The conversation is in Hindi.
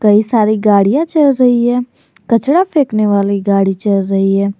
कई सारी गाड़ियां चल रही है कचरा फेंकने वाली गाड़ी चल रही है।